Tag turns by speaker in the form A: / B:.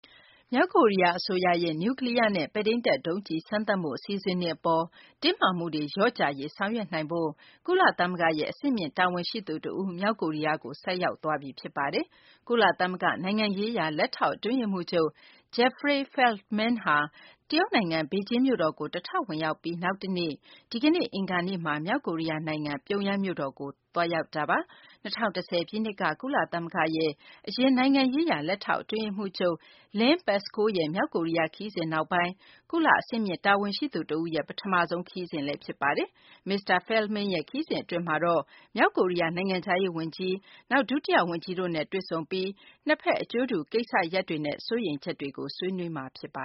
A: မြောက်ကိုရီးယား အစိုးရရဲ့ နျူးကလီးယားနဲ့ ပဲ့ထိန်းတပ် ဒုံးကျည် စမ်းသပ်မှု အစီအစဉ်တွေ အပေါ် တင်းမာမှုတွေ လျော့ကျရေး ဆောင်ရွက်နိုင်ဖို့ ကုလသမဂ္ဂရဲ့ အဆင့်မြင့် တာဝန်ရှိသူ တဦး မြောက်ကိုရီးယားကို ဆိုက်ရောက်သွားပြီ ဖြစ်ပါတယ်။ ကုလသမဂ္ဂ နိုင်ငံရေးရာ လက်ထောက် အတွင်းရေးမှူးချုပ် Jeffrey Feltman ဟာ တရုတ်နိုင်ငံ ဘေဂျင်းမြို့တော်ကို တထောက်ဝင်ရောက်ပြီး နောက်တနေ့ ဒီကနေ့ အင်္ဂါနေ့မှာ မြောက်ကိုရီးယား နိုင်ငံ ပြုံယမ်းမြို့တော်ကို သွားရောက်တာပါ။ ၂၀၁၀ ပြည့်နှစ်က ကုလသမဂ္ဂရဲ့ အရင် နိုင်ငံရေးရာ လက်ထောက် အတွင်းရေးမှူးချုပ် Lynn Pascoe ရဲ့ မြောက်ကိုရီးယား ခရီးစဉ်နောက်ပိုင်း ကုလ အဆင့်မြင့်တာဝန်ရှိသူ တဦးရဲ့ ပထမဆုံး ခရီးစဉ်လည်း ဖြစ်ပါတယ်။ မစ္စတာ Feltman ရဲ့ ခရီးစဉ်အတွင်းမှာတော့ မြောက်ကိုရီးယား နိုင်ငံခြားရေး ဝန်ကြီး Ri Yong Ho၊ နောက် ဒုတိယ ဝန်ကြီး Pak Myong Guk တို့နဲ့ တွေ့ဆုံပြီး နှစ်ဘက် အကျိုးတူ ကိစ္စရပ်တွေနဲ့ စိုးရိမ
B: ်ချက်တွေကို ဆွေးနွေးမှာ ဖြစ်ပ